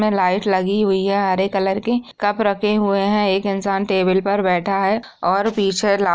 light लगी हुई है हरे कलर की कप रखे हुए है एक इंसान टेबल पर बैठा है और पीछे --